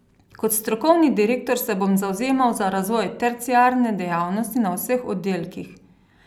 Kot strokovni direktor se bom zavzemal za razvoj terciarne dejavnosti na vseh oddelkih.